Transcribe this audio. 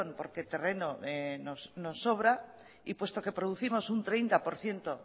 porque terreno nos sobra y puesto que producimos un treinta por ciento